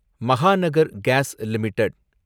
Mahanagar GAS limited